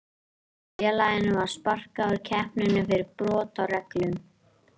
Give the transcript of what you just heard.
Félaginu var sparkað úr keppninni fyrir brot á reglum.